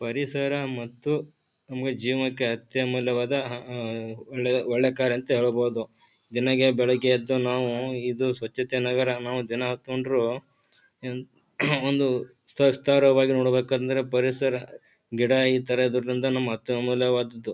ಪರಿಸರ ಮತ್ತು ನಮ್ಮಗೆ ಜೀವಕ್ಕೆ ಅತ್ಯಮೂಲ್ಯವಾದ ಅಹ್ ಒಳ್ಳೆ ಒಳ್ಳೆಕಾರ್ಯ ಅಂತ ಹೇಳಬಹುದು. ದಿನಗೆ ಬೆಳಗ್ಗೆ ಎದ್ದು ನಾವು ಇದು ಸ್ವಚತನಗರ ನಾವು ದಿನ ಹಾಕೊಂಡ್ರು ಎನ್ ಒಂದು ಸ್ತ ಸ್ತರವಾಗಿ ನೋಡಬೇಕಂದ್ರೆ ಪರಿಸರ ಗಿಡ ಇತರ ಇರೊದ್ರಿಂದ ನಮ್ಮ ಅತ್ಯಮೂಲ್ಯವಾದದ್ದು.